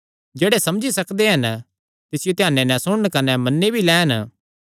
जेह्ड़े समझी सकदे हन तिसियो ध्याने नैं सुणन कने मन्नी भी लैन